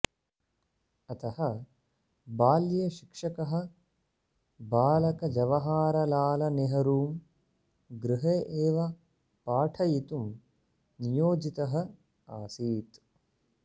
अतः बाल्ये शिक्षकः बालकजवाहरलालनेहरुं गृहे एव पाठयितुं नियोजितः आसीत्